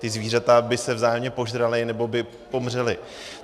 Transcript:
Ta zvířata by se vzájemně požrala nebo by pomřela.